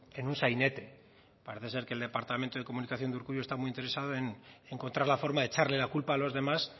en un sainete parece ser que el departamento de comunicación de urkullu está muy interesado en encontrar la forma de echarle la culpa a los demás